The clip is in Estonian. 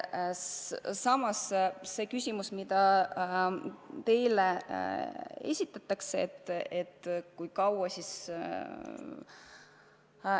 Nüüd see küsimus, mida teile on esitatud, et kui kaua siis.